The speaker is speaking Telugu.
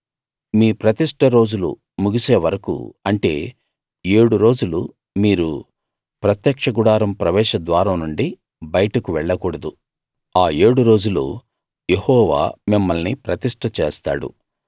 మీ ప్రతిష్ఠ రోజులు ముగిసే వరకూ అంటే ఏడు రోజులు మీరు ప్రత్యక్ష గుడారం ప్రవేశ ద్వారం నుండి బయటకు వెళ్ళకూడదు ఆ ఏడు రోజులూ యెహోవా మిమ్మల్ని ప్రతిష్ట చేస్తాడు